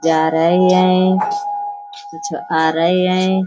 जा रही हैं कुछ आ रही हैं।